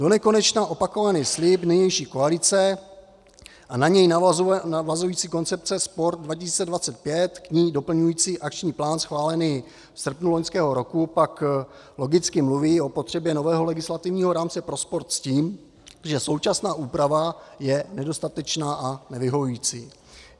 Donekonečna opakovaný slib nynější koalice a na něj navazující koncepce Sport 2025, k ní doplňující akční plán schválený v srpnu loňského roku pak logicky mluví o potřebě nového legislativního rámce pro sport s tím, že současná úprava je nedostatečná a nevyhovující.